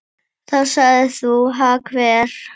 Þá sagðir þú: Ha hver?